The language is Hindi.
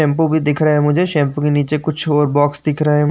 शैम्पू भी दिख रहे हैं मुझे। शैम्पू की नीचे कुछ और बॉक्स दिख रहे --